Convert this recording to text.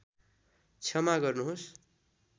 क्षमा गर्नुहोस्